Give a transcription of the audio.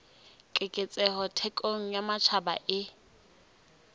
keketseho thekong ya matjhaba e